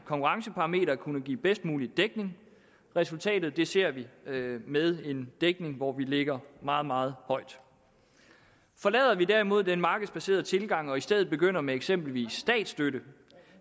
konkurrenceparameter at kunne give bedst mulig dækning resultatet ser vi med en dækning hvor vi ligger meget meget højt forlader vi derimod den markedsbaserede tilgang og i stedet begynder med eksempelvis statsstøtte